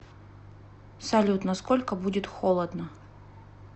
салют на сколько будет холодно